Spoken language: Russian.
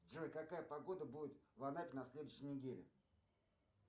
джой какая погода будет в анапе на следующей неделе